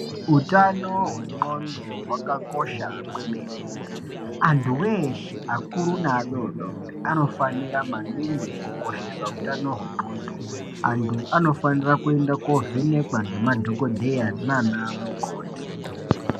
Hutano hwenxondo hwakakosha kwemene antu eshe akuru neadodori anofanira maningi kukoshesa hutano hwenxondo antu anofana kuenda kovhenekwa nema dhokodheya nana mukoti.